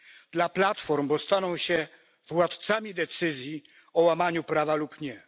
Dla platform, bo staną się władcami decyzji o łamaniu prawa lub nie.